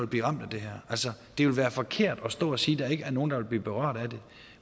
blive ramt af det her altså det vil være forkert at stå og sige at der ikke er nogen der vil blive berørt af det